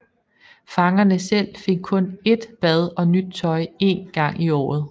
Fangerne selv fik kun ét bad og nyt tøj én gang i året